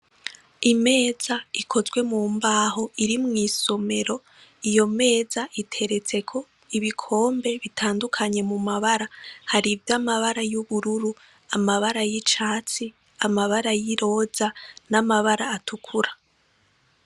Imeza ikozwe mu mbaho iri mw'isomero iyo meza iteretseko ibikmbe bitandukanye mu mabara, harivy'amabara y'ubururu; amabara y'icatsi; amabara y'iroza n'amabara atukura.